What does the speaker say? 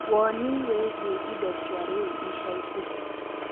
wonĩ wĩigie ĩndo cia rĩu ĩca ĩkũhĩ